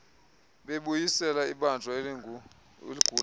bokubuyisela ibanjwa eligula